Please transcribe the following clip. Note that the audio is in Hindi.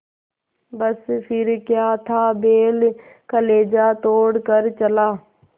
बस फिर क्या था बैल कलेजा तोड़ कर चला